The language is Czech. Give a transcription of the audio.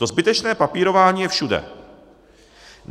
To zbytečné papírování je všude.